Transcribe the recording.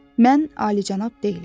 Mən alicənab deyiləm.